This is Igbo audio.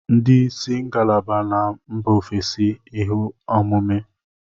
Ndị isi ngalaba na mba ofesi ihe ọmụmụ